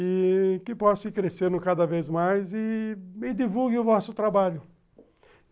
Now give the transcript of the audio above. E que possa ir crescendo cada vez mais e divulguem o vosso trabalho.